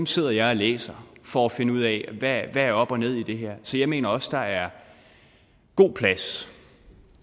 sidder jeg læser for at finde ud af hvad der er op og ned i det her så jeg mener også der er god plads